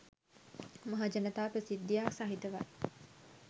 මහජනතා ප්‍රසිද්ධියක් සහිතවයි.